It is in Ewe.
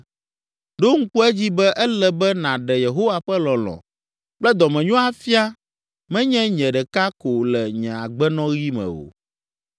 Ɖo ŋku edzi be ele be nàɖe Yehowa ƒe lɔlɔ̃ kple dɔmenyo afia menye nye ɖeka ko le nye agbenɔɣi me o,